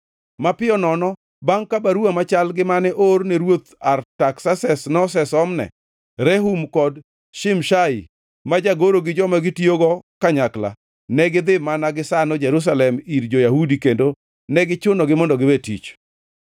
Mapiyo nono bangʼ ka baruwa machal gi mane oor ne Ruoth Artaksases nosesom ne Rehum kod Shimshai ma jagoro gi joma gitiyogo kanyakla, negidhi mana gisano Jerusalem ir jo-Yahudi kendo ne gichunogi mondo giwe tich.